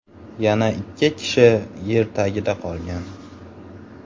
Yana ikki kishi yer tagida qolgan.